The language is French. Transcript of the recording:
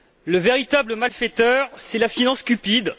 le véritable malfaiteur, c'est la finance cupide.